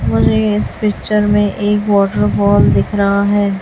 मुझे ये इस पिक्चर में एक वॉटरफॉल दिख रहा है।